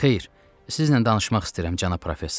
Xeyir, sizlə danışmaq istəyirəm, cənab professor.